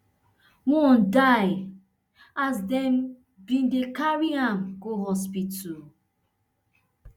one die as dem bin dey carry her go hospital